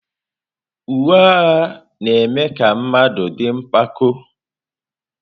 Uwe agha na-eme ka mmadụ dị mpako.